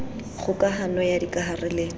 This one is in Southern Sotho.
kgoka hano ya dikahare le